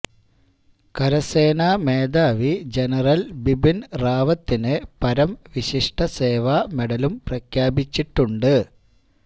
കരസേനാ മേധാവി ജനറല് ബിപിന് റാവത്തിന് പരംവിശിഷ്ട സേവാ മെഡലും പ്രഖ്യാപിച്ചിട്ടുണ്ട്